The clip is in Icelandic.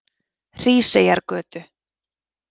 Hríseyjargötu